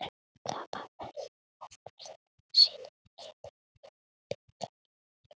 Það var farið í hópferðir á sýningar í Iðnó og Fjalakettinum.